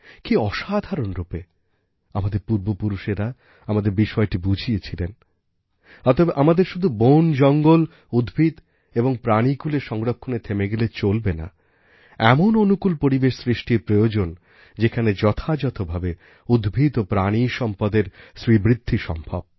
কি অসাধারণরূপে আমাদের পূর্বপুরুষেরা আমাদের বিষয়টি বুঝিয়েছিলেন অতএব আমাদের শুধু বনজঙ্গল উদ্ভিদ এবং প্রাণীকুলের সংরক্ষণে থেমে গেলে চলবেনাএমন অনুকূল পরিবেশ সৃষ্টির প্রয়োজনযেখানে যথাযথভাবে উদ্ভিদ ও প্রাণী সম্পদের শ্রীবৃদ্ধি সম্ভব